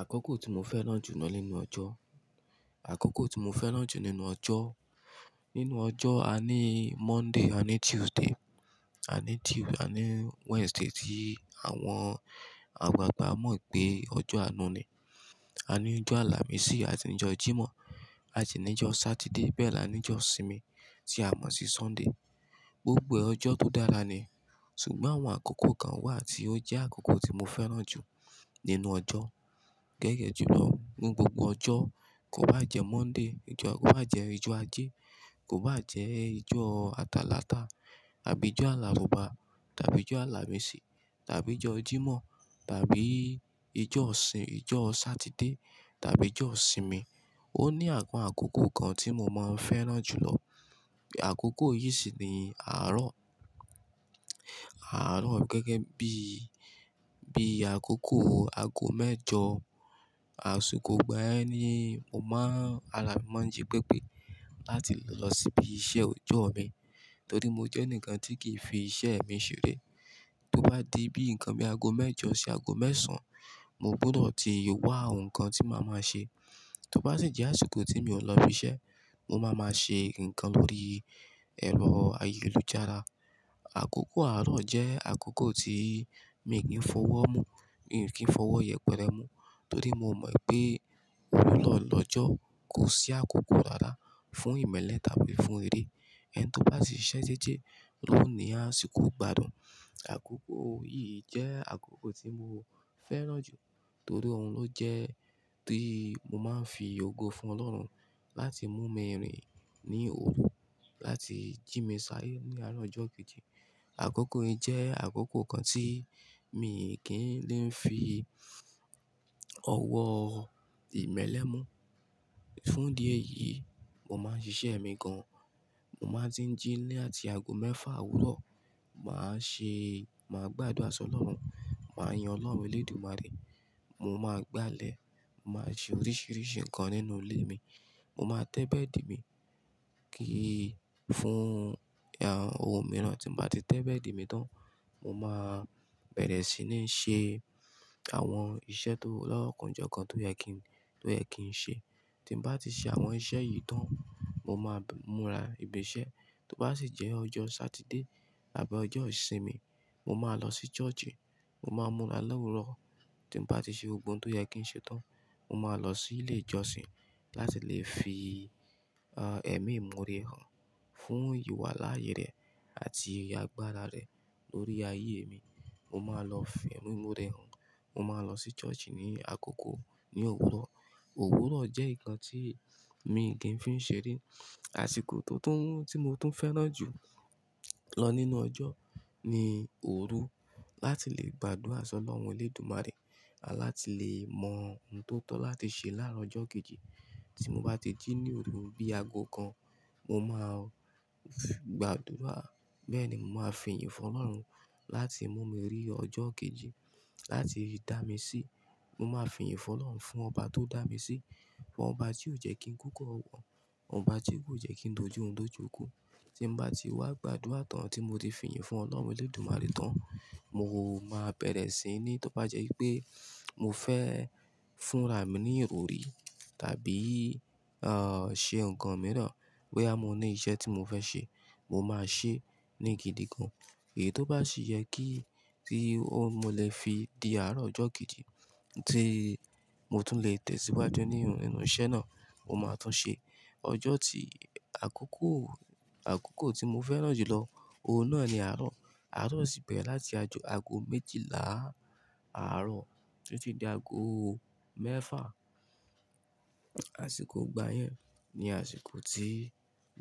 Àkókò tí mo fẹ́ràn jù lọ nínú ọjọ́, àkókò tí mo fẹ́ràn jù nínú ọjọ́. Nínú ọjọ́, a ní Monday, a ní Tuesday, a ní Tue-- a ní Wednesday tí àwọn àgbagba mọ̀ pé ọjọ́ àánú ni. A níjọ́ àlàmísì àsi níjọ́ Jímọ̀ àsi ní ọjọ́ Saturday, bẹ́ẹ̀ ní anijọ́ ìsinmi tí a mọ̀ sí Sunday. Gbogbo ọjọ́ tó dára ni, ṣùgbọ́n àwọn àkókò kan wà tí ó jẹ́ àkókò tí mo fẹ́ràn jù nínú ọjọ́. Gẹ́gẹ́ ju lọ, ní gbogbo ọjọ́, kó bá jẹ Monday, jọ kó bá jẹ ijọ́ ajé, kó bá jẹ́ ijọ́ Atalata àbí ijọ́ Alárùbá tàbí ijọ́ Alámìsì tàbí ijọ́ Jímọ̀ tàbí ijo ọ̀sìn, ijo Satide tàbí ijo ìsinmi, ó ní àpọ̀n àkókò kan tí mo máa ń fẹ́ràn jù lọ. Àkókò yìí sì ni àárọ̀. Àárọ̀ gẹ́gẹ́ bí, bí àkókò aago mẹ́jọ àsìkò ìgbà yẹn ni mo máa ara máa mìí máa ń jí pẹ̀pẹ̀ láti lọ síbi iṣẹ́ ọjọ́ mi. Torí mo jẹ́ enikan tí kì í fi iṣẹ́ mi ṣeré. Tó bá di bí nǹkan mi aago mẹ́jọ sí aago mẹ́sàn-án, mo gbúdọ̀ ti wá ǹkan tí màá máa ṣe. Tó bá sì jẹ́ àsìkò tí mi ò lọ ibi iṣẹ́, mo máa máa ṣe ǹkan lórí ẹ̀rọ ayélujára. Àkókò aro jẹ́ àkókò tí mi kì ń fọwọ́ mú ń kí fi ọwọ́ yẹpẹrẹ mú torí mo ì pé òwúrọ̀ lọ́jọ́ kò sí àkókò rárá fún ìmẹ́lẹ́ tàbí fún eré. Ẹni tó bá sì ṣiṣẹ́ dede, lóòni àsìkò gbádùn. Àkókò yìí jẹ́ àkókò tí mo fẹ́ràn jù torí òun ló jẹ́ tí mo máa ń fi ògo fún Ọlọ́run láti mú mi rìn ní òru, láti jí mi sáyé ní àárọ̀ ọjọ́ kejì. Àkókò yìí jẹ́ àkókò kan tí mi kì í lè fi ọwọ́ ìmẹ́lẹ́ mú. Fún idi ẹyìí, mo máa ń ṣiṣẹ́ mi gan. Mo máa ń tí jí ní àti aago mẹ́fà òwúrọ̀, màá ṣe, màá gbàdúrà sọ́ lọ́run, màá yin Ọlọ́run Elédùmarè, mo máa gbálẹ̀, mo máa ṣe oríṣìíríṣìí ǹkan nínú ilé mi, mo máa tẹ́bẹ́ẹ̀dì mi kí í fún, àh, ohun mìíràn. Tí mo bá ti tẹ́bẹ́ẹ̀dì mi tán, mo máa bẹ̀rẹ̀ sí ní ṣe àwọn iṣẹ́ tó lọ́kànjọ́ kan tó yẹ kí n tó yẹ kí n ṣe. Tí n bá ti ṣe àwọn iṣẹ́ yìí tán, mo máa múra ìbìṣẹ́. Tó bá sì jẹ́ ọjọ́ Satide àbí ọjọ́ ìsinmi, mo máa lọ sí churchi, mo máa múra lọ́wúrọ̀. Tí n bá ti ṣe gbogbo ohun tó yẹ kí n ṣe tán, mo máa lọ sí ilé ìjọsìn láti lè fi, àh, ẹ̀mímore hàn fún ìwà láàyè rẹ̀ àti àgbàra rẹ̀ lórí ayé mi. Mo máa lọ fi ẹ̀mí mi muré hàn. Mo máa lọ sí churchi ní àkókò ní òwúrọ̀. Òwúrọ̀ jẹ́ ǹkan tí mi kì í fi ń ṣeré. Àsìkò tó tún, tí mo tún fẹ́ràn jù lọ nínú ọjọ́ ni òru láti lè gbàdúrà sọ́ Ọlọ́run Elédùmarè à láti lè mọ ohun tó tọ́ láti ṣe láàárọ̀ ọjọ́ kejì. Tí mo bá ti jí ní òru bí aago kan, mo máa gbàdúrà. Bẹ́ẹ̀ ni, mo máa fi ìyìn fún Ọlọ́run láti mú mi rí ọjọ́ kejì, láti dà mí sí. Mo máa fi ìyìn fún Ọlọ́run fún ọba tó dà mí sí, fún ọba tí ò jẹ́ kí n kúkú ọwọ́, ọba tí kò jẹ́ kí n dojú orun do ju iku. Tí n bá ti wá gbàdúrà tán tí mo ti fi ìyìn fún Ọlọ́run Elédùmarè tán, mo máa bẹ̀rẹ̀ sí ní, tó bá jẹ́ i pé mo fẹ́ fúnra mi ní ìrọrí tàbí, àh, ṣe ǹkan mìíràn, bóyá mo ní iṣẹ́ tí mo fẹ́ ṣe, mo máa ṣe ní gidi gan. Èyí tó bá sì yẹ kí tí ó mo lè fi di àárọ̀ ọjọ́ kejì tí mo tún lè tẹ̀síwájú ní inú iṣẹ́ náà, mo máa tún ṣe. Ọjọ́ tí àkókò àkókò tí mo fẹ́ràn jùlọ òun náà ni aro. Àárọ̀ sì bẹ̀rẹ̀ láti aago méjìlá àárọ̀ ti ti di aago mẹ́fà. Àsìkò ọgbà yẹn ni àsìkò tí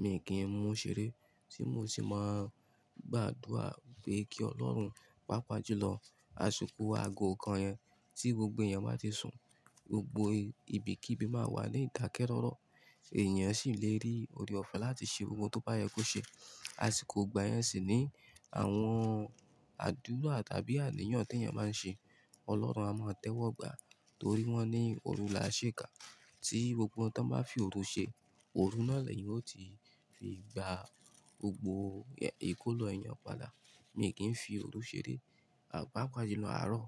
mi kì í mú ṣeré, tí mo sì máa gbàdúrà pé kí Ọlọ́run, pàápàá jùlọ àsìkò aago kan yẹn tí gbogbo ẹ̀yan bá ti sùn, gbogbo ibi kí ibi máa wà ní ìdakeroro èèyàn sì lè rí oore-ọ̀fẹ́ láti ṣe ohun tó bá yẹ kó ṣe. Àsìkò ìgbà yẹn sì ni àwọn àdúrà tàbí àníyàn tí èèyàn máa ń ṣe, Ọlọ́run a máa tẹ́wọ́gbà torí wọ́n ní òrù la sèéka tí gbogbo ohun tó bá fi òru ṣe, òru náà lẹ̀yan ó ti fi gba gbogbo ìkólo ẹeyan padà. Mìí kí n fii òru ṣeré papa jùlọ aro.